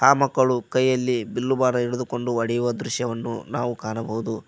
ಆ ಮಕ್ಕಳು ಕೈಯಲ್ಲಿ ಬಿಲ್ಲು ಬಾಣ ಹಿಡುದುಕೊಂಡು ಹೊಡೆಯುವ ದೃಶ್ಯವನ್ನು ನಾವು ಕಾಣಬೋದು.